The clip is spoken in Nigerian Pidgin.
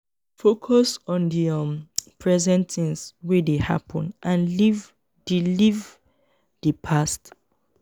focus on di um present things wey dey happen and leave di leave di past